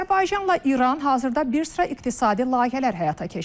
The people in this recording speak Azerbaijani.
Azərbaycanla İran hazırda bir sıra iqtisadi layihələr həyata keçirirlər.